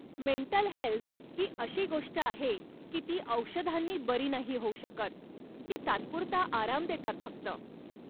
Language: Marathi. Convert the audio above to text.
मेंटल हेल्थ ही अशी गोष्ट आहे की ती औषधांनी बरी नाही होऊ शकत, ती तात्पुरता आराम देतात फक्त.